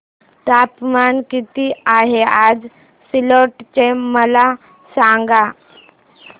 तापमान किती आहे आज सिल्लोड चे मला सांगा